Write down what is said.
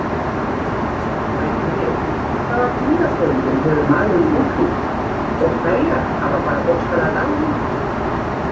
Spyrjandi bætir við: Hvaða dýrategundum hefur maðurinn útrýmt og hverjar hafa bara bókstaflega dáið út?